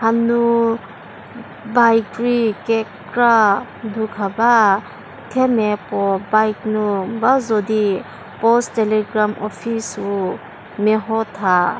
ha nu bike rei kekra du kha ba themia puo bike nu ba zo di post telegram office wu meho tha.